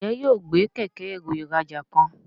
Njé yóò gbé Kẹ̀kẹ́-ẹrù ìrajà kan?